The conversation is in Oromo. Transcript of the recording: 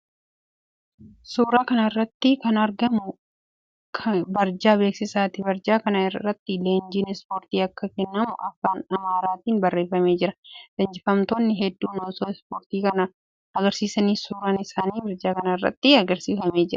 Suuraa kana irratti kan argamu barjaa beeksisaati. Barjaa kana irratti leenjiin ispoortii akka kennamu afaan Amaaraatiin barreeffamee jira. Leenjifamtoonni hedduun osoo ispoortii kana agarsiisanii suuraan isaanii barjaa kana irratti agarsiifamee jira.